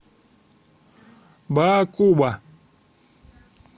баакуба